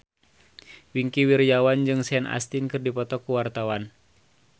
Wingky Wiryawan jeung Sean Astin keur dipoto ku wartawan